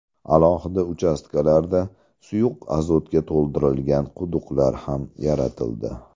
Alohida uchastkalarda suyuq azotga to‘ldirilgan quduqlar ham yaratildi.